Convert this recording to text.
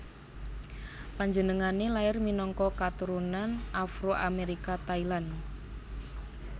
Panjenengané lair minangka keturunan Afro Amérika Thailand